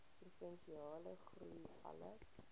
provinsiale groei alle